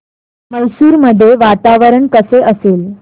मैसूर मध्ये वातावरण कसे असेल